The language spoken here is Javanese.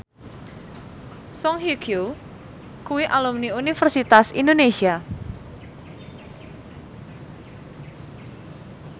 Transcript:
Song Hye Kyo kuwi alumni Universitas Indonesia